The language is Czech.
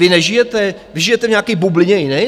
Vy nežijete, vy žijete v nějaký bublině jiné?